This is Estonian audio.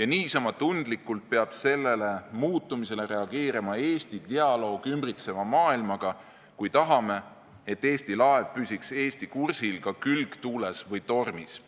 ja niisama tundlikult peab sellele muutumisele reageerima Eesti dialoog ümbritseva maailmaga, kui tahame, et Eesti laev püsiks Eesti kursil ka külgtuules või tormis.